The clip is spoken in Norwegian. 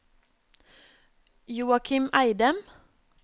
Joachim Eidem